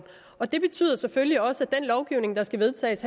det betyder selvfølgelig også at den lovgivning der skal vedtages